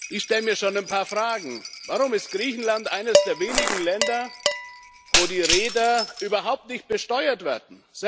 Ich stelle mir schon ein paar Fragen Warum ist Griechenland eines der wenigen Länder, wo die Reeder überhaupt nicht besteuert werden?